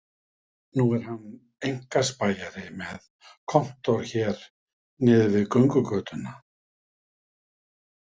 Nú er hann einkaspæjari með kontór hér niðri við göngugötuna